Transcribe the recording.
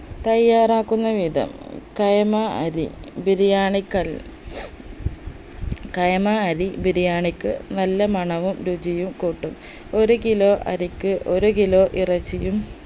തയ്യാറാക്കുന്ന വിധം കൈമ അരി ബിരിയാണിക്കൽ കൈമ അരി ബിരിയാണിക്ക് നല്ല മണവും രുചിയും കൂട്ടും ഒരു kilo അരിക്ക് ഒരു kilo ഇറച്ചിയും